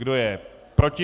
Kdo je proti?